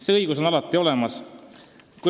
See õigus on alati olemas.